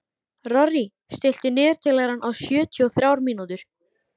Rorí, stilltu niðurteljara á sjötíu og þrjár mínútur.